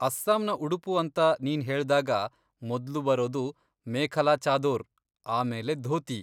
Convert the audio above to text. ಅಸ್ಸಾಂನ ಉಡುಪು ಅಂತ ನೀನ್ಹೇಳ್ದಾಗ ಮೊದ್ಲು ಬರೋದು ಮೇಖಲಾ ಚಾದೊರ್, ಆಮೇಲೆ ಧೋತಿ.